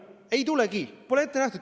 Ei tulegi, pole ette nähtud.